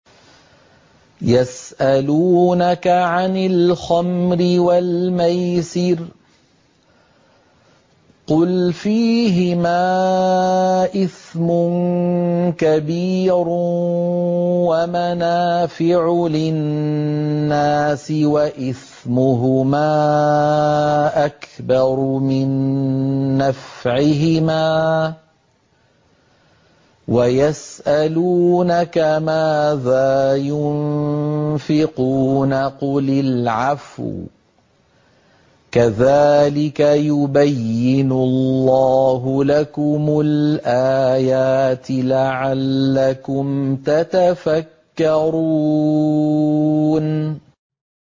۞ يَسْأَلُونَكَ عَنِ الْخَمْرِ وَالْمَيْسِرِ ۖ قُلْ فِيهِمَا إِثْمٌ كَبِيرٌ وَمَنَافِعُ لِلنَّاسِ وَإِثْمُهُمَا أَكْبَرُ مِن نَّفْعِهِمَا ۗ وَيَسْأَلُونَكَ مَاذَا يُنفِقُونَ قُلِ الْعَفْوَ ۗ كَذَٰلِكَ يُبَيِّنُ اللَّهُ لَكُمُ الْآيَاتِ لَعَلَّكُمْ تَتَفَكَّرُونَ